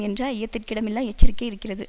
என்ற ஐயத்திற்கிடமில்லா எச்சரிக்கை இருக்கிறது